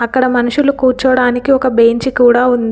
అక్కడ మనుషులు కూర్చోడానికి ఒక బెంచ్ కూడా ఉంది.